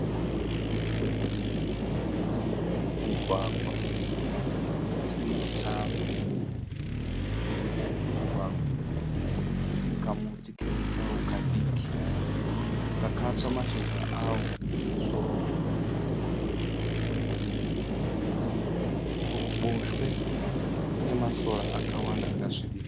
Mugwagwa usina tara. Kurudyi kwemugwagwa kune kamuti kemusau kadiki kakatsva mashizha awo kumusoro. Kuruboshwe kune masora akawanda akasvibira.